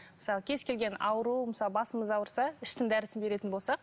мысалы кез келген ауру мысалы басымыз ауырса іштің дәрісін беретін болсақ